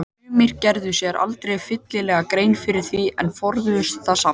Sumir gerðu sér aldrei fyllilega grein fyrir því en forðuðust þá samt.